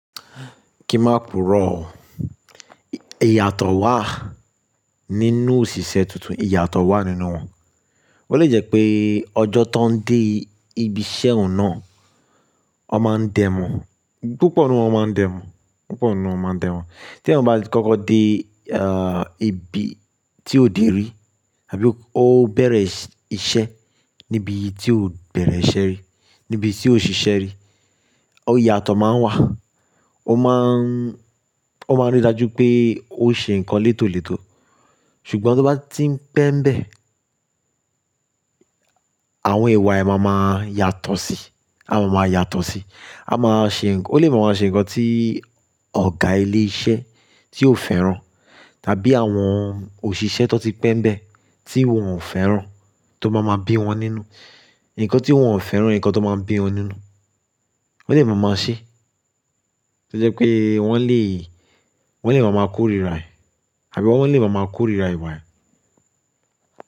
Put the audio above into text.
Kí má pùrọ̀, ìyàtọ̀ wà nínú òṣìṣẹ́ tuntun, ìyàtọ̀ wà nínú wà. Ó lè jẹ́ pé ọjọ́ tó ń dé ibi iṣẹ́ ọ̀ná ọ máa ń dẹ̀mú, púpọ̀ nínú ọ máa ń dẹ̀mú, púpọ̀ nínú ọ máa ń dẹ̀mú. Tí ẹ̀nìyàn bá kọ́kọ́ dé ẹ̀ bí tí òdè rí àbí ó bẹ̀rẹ̀ iṣẹ́ níbi tí ò bẹ̀rẹ̀ iṣẹ́ rí, níbi tí ò ṣiṣẹ́ rí, ó ìyàtọ̀ máa ń wà. Ó máa ń rí i dájú pé ó ń ṣe nǹkan létòlétò. Sùgbọ́n tí ó bá ti ń pẹ́mbẹ́, àwọn ìwà ẹ̀ màa máa yàtọ̀ sí, àwọn máa yàtọ̀ sí. À máa ṣe ǹkan, ó lè máa ṣe nǹkan tí ọ̀gá ilé iṣẹ́ tí ò fẹ́ràn tàbí àwọn òṣìṣẹ́ tó ti pẹ́mpẹ́ tí wọ́n ò fẹ́ràn tó máa ń bí wọn nínú, nǹkan tí wọ́n ò fẹ́ràn, nǹkan tó máa ń bí wọn nínú. Ó lè máa máa ṣe. Ó lẹ́ pé wọ́n lè, wọ́n lè máa máa kórira ẹ̀, àbí wọ́n lè máa máa kórira ìwà ẹ̀.